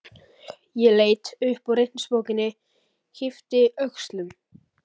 Ég leit upp úr reikningsbókinni, yppti öxlum.